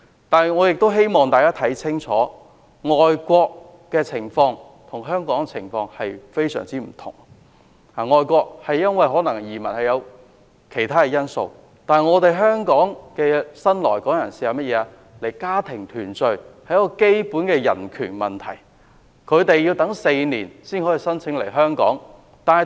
不過，我也希望大家看清楚，外國跟香港的情況十分不同，人們可能因為其他因素移民外國，但移居香港的新來港人士大多為了家庭團聚，這是基本的人權，他們要等待4年才能夠申請來港。